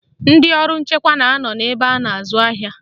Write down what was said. Ndị ọrụ nchekwa na anọ n'ebe a na-azụ ahịa